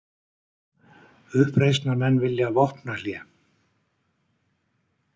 Uppreisnarmenn vilja vopnahlé